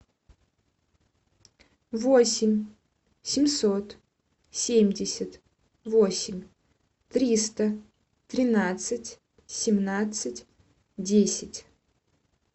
восемь семьсот семьдесят восемь триста тринадцать семнадцать десять